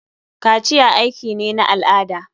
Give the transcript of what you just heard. Kaciya aiki ne na al'ada.